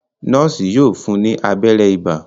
Noosi yóò fún ní abéré ibà.